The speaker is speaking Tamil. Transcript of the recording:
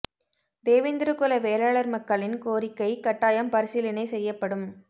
தேவேந்திர குல வேளாளர் மக்களின் கோரிக்க கட்டாயம் பரிசீலனை செய்யபடும்